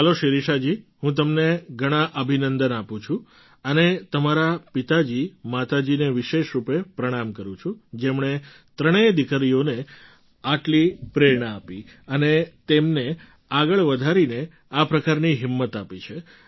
ચાલો શિરિષાજી હું તમને ઘણા અભિનંદન આપું છું અને તમારા પિતાજી માતાજીને વિશેષ રૂપે પ્રણામ કરું છું જેમણે ત્રણેય દીકરીઓને આટલી પ્રેરણા આપી અને તેમને આગળ વધારી અને આ પ્રકારની હિંમત આપી છે